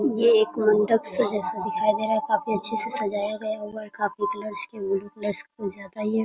ये एक मंडप सा जैसा दिखाई दे रहा है काफी अच्छे से सजाया गया हुआ है काफी कलर्स की गयी हुई है ब्लू कलर कुछ ज्यादा ही है ।